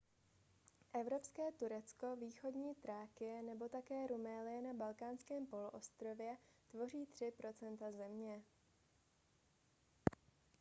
evropské turecko východní thrákie nebo také rumélie na balkánském poloostrově tvoří 3 % země